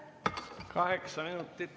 Kokku kaheksa minutit.